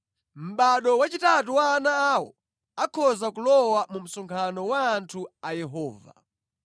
Mʼbado wachitatu wa ana awo akhoza kulowa mu msonkhano wa anthu a Yehova.